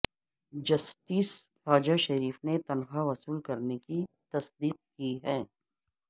justice Khawaja Sharif نے تنخواہ وصول ہونے کی تصدیق کی ہے